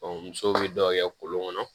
musow bi dɔw kɛ kolon kɔnɔ